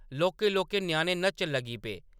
लौह्‌‌‌के-लौह्‌‌‌के ञ्याणे नच्चन लगी पे।